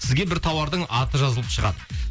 сізге бір тауардың аты жазылып шығады